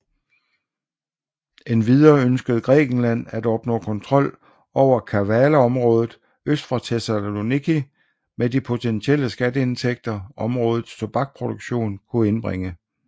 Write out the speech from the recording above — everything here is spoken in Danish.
Endvidere ønskede Grækenland at opnå kontrol over Kavalaområdet øst for Thessaloniki med de potentielle skatteindtægter områdets tobakproduktion kunne indbringe